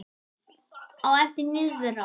Á eftir niðrá